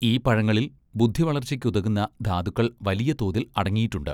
ഈ പഴങ്ങളിൽ ബുദ്ധിവളർച്ചയ്ക്കുതകുന്ന ധാതുക്കൾ വലിയ തോതിൽ അടങ്ങിയിട്ടുണ്ട്.